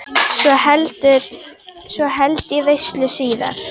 Svo held ég veislu síðar.